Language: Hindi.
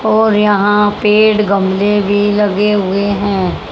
और यहां पेड़ गमले भी लगे हुए हैं।